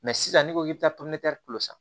sisan n'i ko k'i bɛ taa san